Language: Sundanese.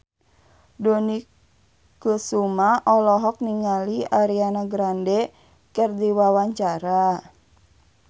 Dony Kesuma olohok ningali Ariana Grande keur diwawancara